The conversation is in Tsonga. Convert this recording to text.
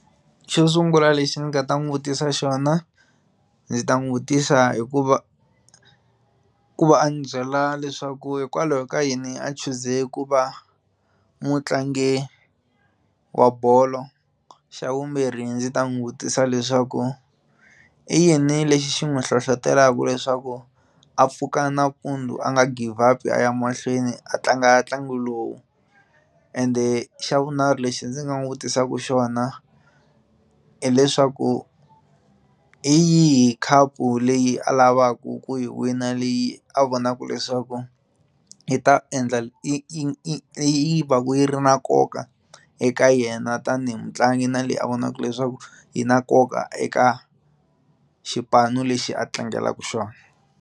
Xo sungula lexi ni nga ta n'wi vutisa xona ndzi ta n'wi vutisa hikuva ku va a ni byela leswaku hikwalaho ka yini a chuze ku va mutlangi wa bolo, xa vumbirhi ndzi ta n'wi vutisa leswaku i yini lexi xi n'wi hlohlotelaka leswaku a pfuka nampundzu a nga give up-i aya mahlweni a tlanga ntlangu lowu ende xa vunharhu lexi ndzi nga n'wi vutisaka xona hileswaku hi yihi khapu leyi a lavaka ku yi wina leyi a vonaka leswaku yi ta endla yi yi yi yi va ku yi ri na nkoka eka yena tanihi mutlangi na leyi a vonaka leswaku yi na nkoka eka xipano lexi a tlangelaka xona.